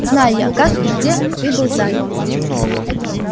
знаю я как и где ты был занят